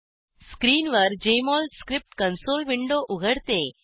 स्क्रीनवर Jmol script console window उघडते